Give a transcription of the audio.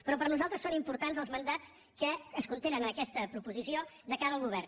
però per nosaltres són importants els mandats que es contenen en aquesta proposició de cara al govern